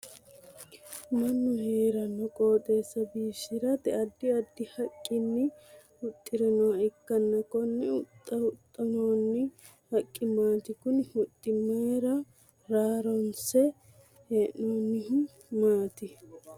Mannu heerano qooxeesa biifisirate addi addi haqinni huxiranoha ikanna konne huxa huxinoonni haqi maati? Kunni huxi aanna raraanse hee'noonnihu maati?